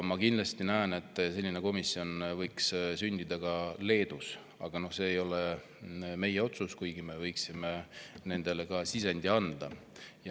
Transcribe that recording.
Ma kindlasti näen, et selline komisjon võiks sündida ka Leedus, aga see ei ole meie otsus, kuigi me võiksime neile sisendit anda.